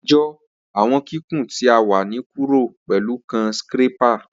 Atijọ awọn kikun ti wa ni kuro pẹlu kan scrapper.